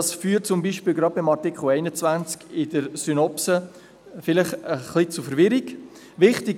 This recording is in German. Dies führt zum Beispiel gerade beim Artikel 21 vielleicht zu etwas Verwirrung in der Synopse.